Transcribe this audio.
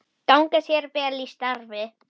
Gangi þér vel í starfi.